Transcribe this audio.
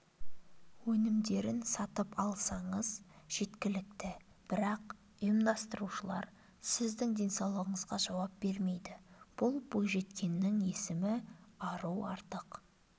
өнімдерін сатып алсаңыз жеткілікті бірақ ұйымдастырушылар сіздің денсаулығыңызға жауап бермейді бұл бойжеткеннің есімі ару артық